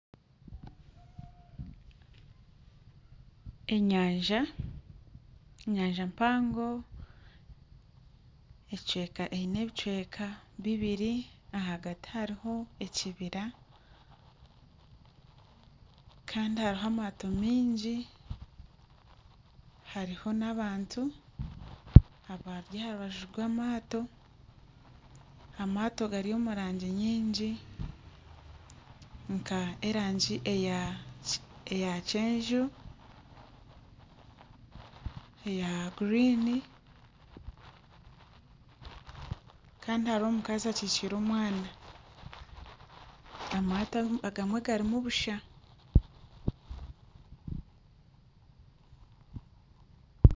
Enyanja, enyanja mpango eine ebicweka bibiri ahagati hariho ekibiri kandi hariho amaato mingi hariho n'abantu abari aha rubaju rw'amaato, amaato gari omu rangi nyingi nk'erangi eya kyenju, eya guriini kandi hariho omukazi akyikiire omwana, amaato agamwe garimu busha